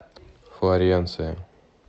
флоренция